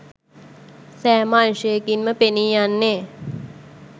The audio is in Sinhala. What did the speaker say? සෑම අංශයකින්ම පෙනීයන්නේ